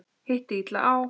Hitti illa á.